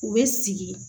U bɛ sigi